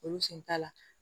Olu sen t'a la